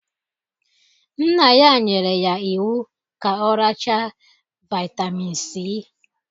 Nna ya nyere ya iwu ka ọ racha Vaitamin C!